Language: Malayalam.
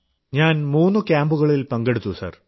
ഞാൻ മൂന്നു ക്യാമ്പുകളിൽ പങ്കെടുത്തു സർ